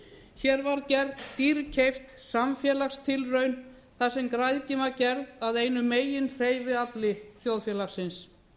hér var gerð dýrkeypt samfélagstilraun þar sem græðgin var gerð að einu meginhreyfiafli þjóðfélagsins